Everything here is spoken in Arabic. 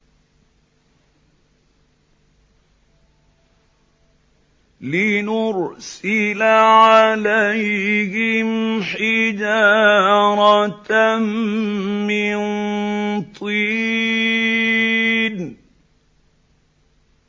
لِنُرْسِلَ عَلَيْهِمْ حِجَارَةً مِّن طِينٍ